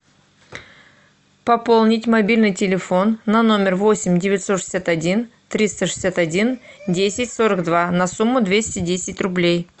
пополнить мобильный телефон на номер восемь девятьсот шестьдесят один триста шестьдесят один десять сорок два на сумму двести десять рублей